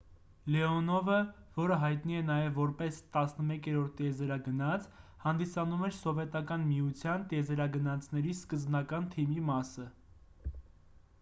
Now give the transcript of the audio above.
լեոնովը որը հայտնի է նաև որպես 11-րդ տիեզերագնաց հանդիսանում էր սովետական միության տիեզերագնացների սկզբնական թիմի մասը